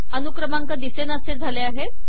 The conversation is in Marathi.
अनुक्रमांक दिसे नासे झाले आहेत